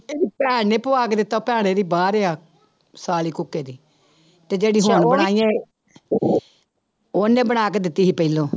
ਇਹਦੀ ਭੈਣ ਨੇ ਪਵਾ ਕੇ ਦਿੱਤਾ ਭੈਣ ਇਹਦੀ ਬਾਹਰ ਆ, ਸਾਲੀ ਕੁੱਕੇ ਦੀ, ਤੇ ਜਿਹੜੀ ਹੁਣ ਆਈ ਹੈ ਉਹਨੇ ਬਣਾ ਕੇ ਦਿੱਤੀ ਸੀ ਪਹਿਲੋਂ।